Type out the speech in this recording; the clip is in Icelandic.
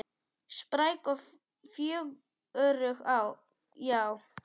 Spræk og fjörug, já.